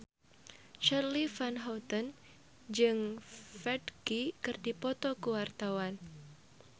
Charly Van Houten jeung Ferdge keur dipoto ku wartawan